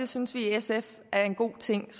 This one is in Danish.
synes vi i sf er en god ting